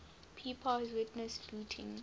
pepys witnessed looting